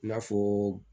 I n'a fɔ